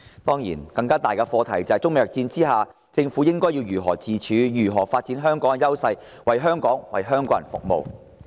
當然，更大的課題是，在中美貿易戰下，政府應如何自處，如何發展香港的優勢，為香港及香港人服務？